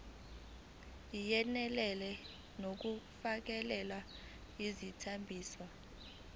eyenele ngokufakela izitatimende